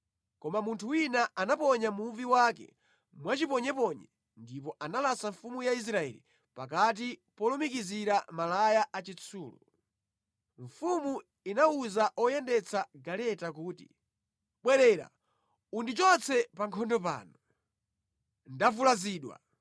Koma munthu wina anaponya muvi wake mwachiponyeponye ndipo analasa mfumu ya Israeli pakati polumikizira malaya achitsulo. Mfumu inawuza oyendetsa galeta kuti, “Bwerera, undichotse pa nkhondo pano. Ndavulazidwa.”